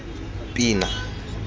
pina